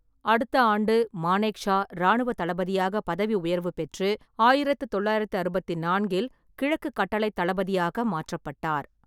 அடுத்த ஆண்டு, மானேக்ஷா இராணுவத் தளபதியாக பதவி உயர்வு பெற்று, ஆயிரத்து தொள்ளாயிரத்து அறுபத்து நான்கில் கிழக்கு கட்டளைத் தளபதியாக மாற்றப்பட்டார்.